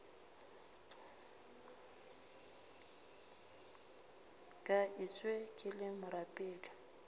ka etšwe ke le morapedi